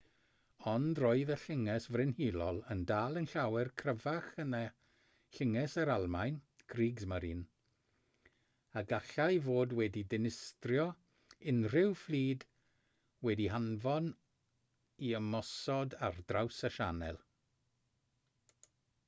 ond roedd y llynges frenhinol yn dal yn llawer cryfach na llynges yr almaen kriegsmarine a gallai fod wedi dinistrio unrhyw fflyd wedi'i hanfon i ymosod ar draws y sianel